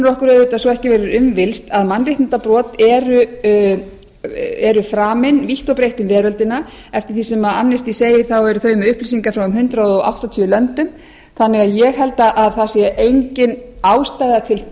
okkur auðvitað svo ekki verður um villst að mannréttindabrot eru framin vítt og breitt um veröldina eftir því sem amnesty segir eru þau með upplýsingar frá um hundrað áttatíu löndum þannig að ég held að það sé engin ástæða til